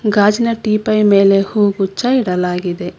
ಗಾಜಿನ ಟಿಪಾಯ್ ಮೇಲೆ ಹೂಗುಚ್ಚ ಇಡಲಾಗಿದೆ.